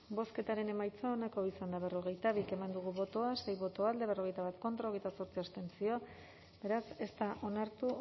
bozketaren emaitza onako izan da berrogeita bi eman dugu bozka sei boto alde berrogeita bat contra hogeita zortzi abstentzio beraz ez da onartu